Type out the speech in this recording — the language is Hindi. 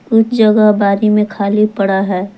कुछ जगह आबादी में खाली पड़ा है।